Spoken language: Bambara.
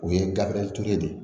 O ye gafe turuli de ye